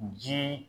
Ji